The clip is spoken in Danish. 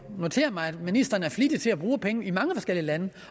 notere mig at ministeren er flittig til at bruge penge i mange forskellige lande